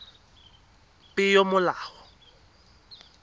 peomolao